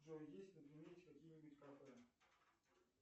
джой есть на примете какие нибудь кафе